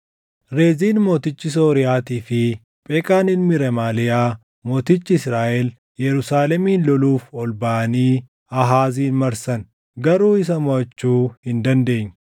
Reziin mootichi Sooriyaatii fi Pheqaan ilmi Remaaliyaa mootichi Israaʼel Yerusaalemin loluuf ol baʼanii Aahaazin marsan; garuu isa moʼachuu hin dandeenye.